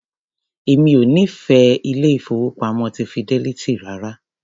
Èmi ò nífẹ̀ẹ́ ilé-ìfowópamọ́ ti Fidelity rárá.